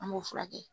An b'o furakɛ